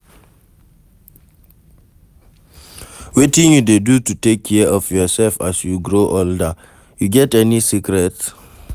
Wetin you dey do to take care of yourself as you grow older, you get any secrets?